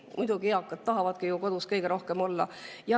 Muidugi, eakad tahavadki kõige rohkem ju kodus.